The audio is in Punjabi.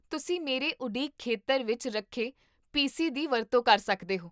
ਤੁਸੀਂ ਮੇਰੇ ਉਡੀਕ ਖੇਤਰ ਵਿੱਚ ਰੱਖੇ ਪੀਸੀ ਦੀ ਵਰਤੋਂ ਕਰ ਸਕਦੇ ਹੋ